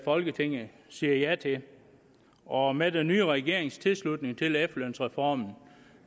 folketinget siger ja til og med den nye regerings tilslutning til efterlønsreformen